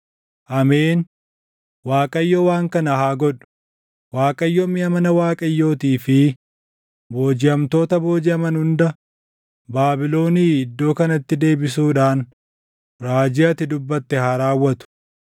“Ameen! Waaqayyo waan kana haa godhu! Waaqayyo miʼa mana Waaqayyootii fi boojiʼamtoota boojiʼaman hunda Baabilonii iddoo kanatti deebisuudhaan raajii ati dubbatte haa raawwatu.